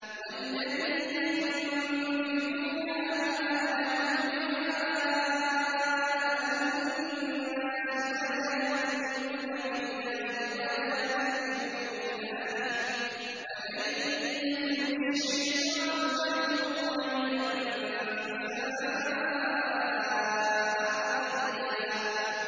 وَالَّذِينَ يُنفِقُونَ أَمْوَالَهُمْ رِئَاءَ النَّاسِ وَلَا يُؤْمِنُونَ بِاللَّهِ وَلَا بِالْيَوْمِ الْآخِرِ ۗ وَمَن يَكُنِ الشَّيْطَانُ لَهُ قَرِينًا فَسَاءَ قَرِينًا